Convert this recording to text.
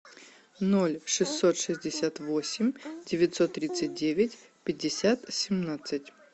ноль шестьсот шестьдесят восемь девятьсот тридцать девять пятьдесят семнадцать